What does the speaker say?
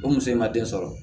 O muso in ma den sɔrɔ